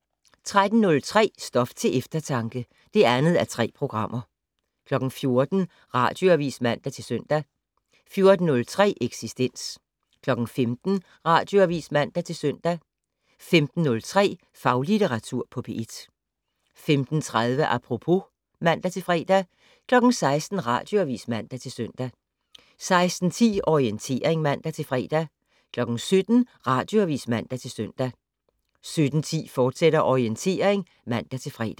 13:03: Stof til eftertanke (2:3) 14:00: Radioavis (man-søn) 14:03: Eksistens 15:00: Radioavis (man-søn) 15:03: Faglitteratur på P1 15:30: Apropos (man-fre) 16:00: Radioavis (man-søn) 16:10: Orientering (man-fre) 17:00: Radioavis (man-søn) 17:10: Orientering, fortsat (man-fre)